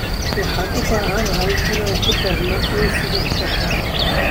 Waxaan u baahanahay inaan ku darno uunsiga shaaha.